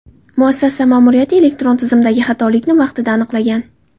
Muassasa ma’muriyati elektron tizimdagi xatolikni vaqtida aniqlagan.